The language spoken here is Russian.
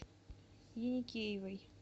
еникеевой